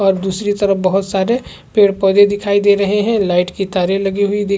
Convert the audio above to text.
और दूसरी तरफ बहोत सारे पेड़-पौधे दिखाई दे रहे हैं लाइट की तारे लगी हुई दिख--